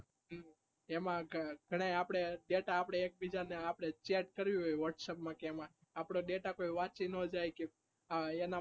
એમાં આપણે data આપણે એક બીજા data આપણે chat કરવું હોય whats up માં કે એમાં આપણો data કોઈ વાંચી ના જાય કે